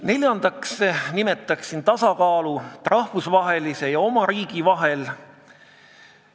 Neljandaks nimetaksin tasakaalu rahvusvahelise ja oma riigi vahel.